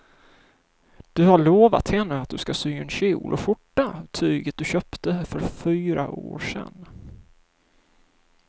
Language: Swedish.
Du har lovat henne att du ska sy en kjol och skjorta av tyget du köpte för fyra år sedan.